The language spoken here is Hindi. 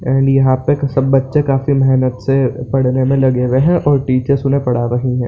और यहाँ पे सब बच्चे काफी मेहनत से पढ़ने में लगे हुए हैं और टीचर्स उन्हें पढ़ा रही है।